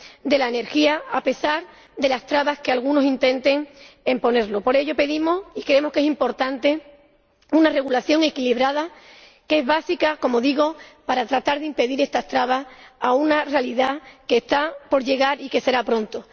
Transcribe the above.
de la energía, a pesar de las trabas que algunos intenten imponernos. Por ello pedimos ―y creemos que es importante― una regulación equilibrada, que es básica, como digo, para tratar de impedir estas trabas a una realidad que está por llegar y que llegará pronto.